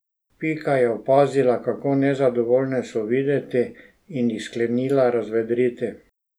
Pika je opazila, kako nezadovoljne so videti, in jih sklenila razvedriti.